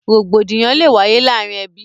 Rògbòdìyàn lè wáyé láàrin ẹbí